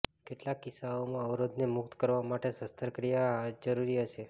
કેટલાક કિસ્સાઓમાં અવરોધને મુક્ત કરવા માટે શસ્ત્રક્રિયા જરૂરી હશે